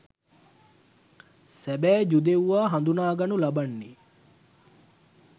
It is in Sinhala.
සැබෑ ජුදෙව්වා හඳුනාගනු ලබන්නේ